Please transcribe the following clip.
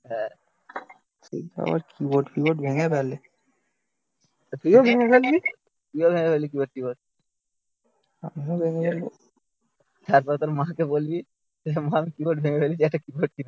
হ্যাঁ, তুই তো আবার কিবোর্ড ফিবোর্ড ভেঙে ফেলে তুইও ভেঙে ফেলবি. তুইও ভেঙে ফেলবি কিবোর্ড কিবোর্ড আমিও ভেঙে ফেলব তারপর তোর মাকে বলবি যে মা কিবোর্ড ভেঙে ফেলেছি একটা কিবোর্ড কিনে দাও